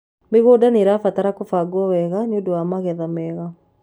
mĩgũnda nĩrabataranĩa kubagwo wega nĩũndũ wa magetha mega